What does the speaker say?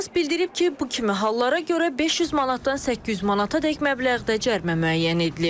Hüquqşünas bildirib ki, bu kimi hallara görə 500 manatdan 800 manatadək məbləğdə cərimə müəyyən edilib.